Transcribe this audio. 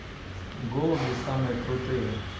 голуби самые крутые